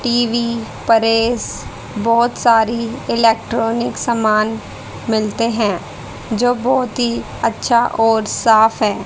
TV press बहोत सारी electronic सामान मिलते हैं जो बहोत ही अच्छा और साफ है।